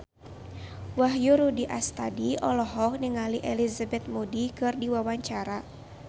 Wahyu Rudi Astadi olohok ningali Elizabeth Moody keur diwawancara